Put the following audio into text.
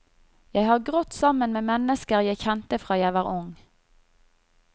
Jeg har grått sammen med mennesker jeg kjente fra jeg var ung.